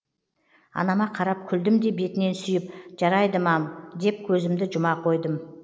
анама қарап күлдім де бетінен сүйіп жарайды мам деп көзімді жұма қойдым